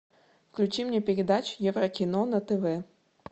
включи мне передачу еврокино на тв